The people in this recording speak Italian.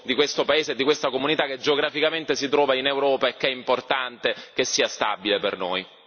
questo paese e di questa comunità che geograficamente si trova in Europa è che è importante che sia stabile per noi.